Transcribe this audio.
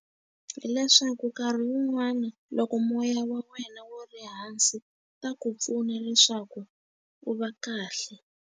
Hileswaku nkarhi wun'wani loko moya wa wena wu ri hansi, ta ku pfuna leswaku u va kahle.